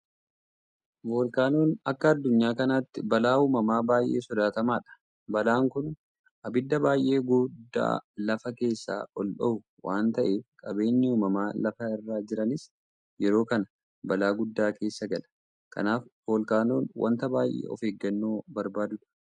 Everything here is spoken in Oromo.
Voolkaanoon akka addunyaa kanaatti balaa uumamaa baay'ee sodaatamaadha. Balaan kun abidda baay'ee gudda lafa keessaa ol dhohu waanta ta'eef qabeenyi uumamaa lafa irra jiranis yeroo kana balaa guddaa keessa galaa. Kanaaf Voolkaanoon wanta baay'ee of eeggannoo barbaaduudha.